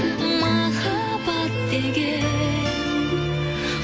махаббат деген